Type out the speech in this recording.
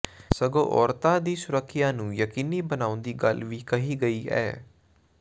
ਸਗੋਂ ਔਰਤਾਂ ਦੀ ਸੁਰੱਖਿਆ ਨੂੰ ਯਕੀਨੀ ਬਣਾਉਣ ਦੀ ਗੱਲ ਵੀ ਕਹੀ ਗਈ ਐ